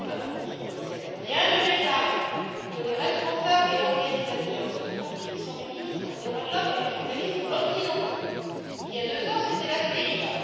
Monsieur le Commissaire, ce gouvernement vient de déclarer que les responsables et organisateurs de ce trafic sont des militants des droits de l'homme et des journalistes occidentaux. Il y a deux ans, c'était la CIA.